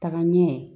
Taga ɲɛ